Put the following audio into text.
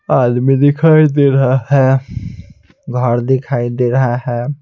आदमी दिखाई दे रहा है घर दिखाई दे रहा है.